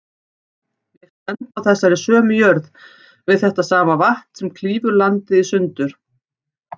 Ég stend á þessari sömu jörð, við þetta sama vatn sem klýfur landið í sundur.